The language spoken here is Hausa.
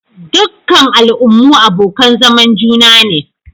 Dukkan al'ummu abokan zaman juna ne.